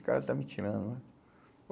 O cara está me tirando né.